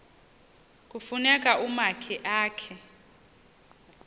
kufuna umakhi akhe